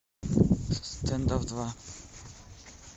стендов два